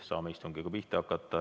Saame istungiga pihta hakata.